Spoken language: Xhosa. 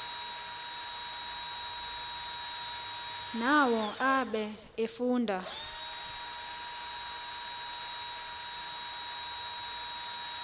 nawo abe efude